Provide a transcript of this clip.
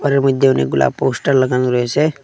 ঘরের মইদ্যে অনেকগুলা পোস্টার লাগানো রয়েসে।